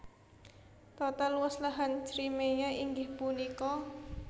Total luas lahan Crimea inggih punika